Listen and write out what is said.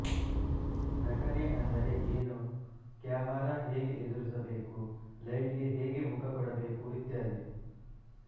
ನಟನೆ ಅಂದರೆ ಏನು ಕ್ಯಾಮರಾ ಹೇಗೆ ಎದುರಿಸಬೇಕು ಲೈಟ್ ಗೆ ಹೇಗೆ ಮುಖ ಕೊಡಬೇಕು ಇತ್ಯಾದಿ